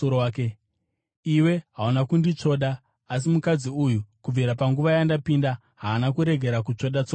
Iwe hauna kunditsvoda, asi mukadzi uyu, kubvira panguva yandapinda, haana kurega kutsvoda tsoka dzangu.